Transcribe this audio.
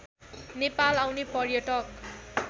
नेपाल आउने पर्यटक